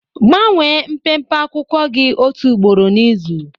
Gbanwee mpempe akwụkwọ gị otu ugboro n'izu.